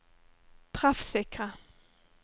treffsikre